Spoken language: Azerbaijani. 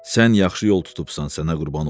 "Sən yaxşı yol tutubsan, sənə qurban olum.